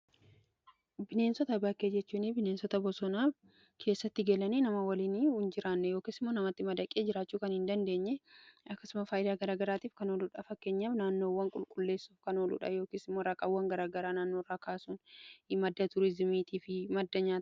bineensota bakkee jechuun bineensota bosonaa keessatti galanii nama waliin hin jiraanne yookiisimmoo namatti madaqee jiraachuu kan hin dandeenye akkasuma faayidaa garagaraatiif kan oluudhaa. fakkenyaaf naannoowwan qulqulleessuuf kan ooluudha. yookiisimoo raqawwan garagaraa naannoorraa kaasuun madda tuurizimiitii fi madda nyaataaf,